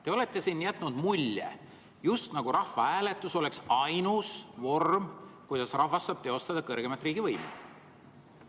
Te olete jätnud mulje, just nagu rahvahääletus oleks ainus vorm, kuidas rahvas saab teostada kõrgeimat riigivõimu.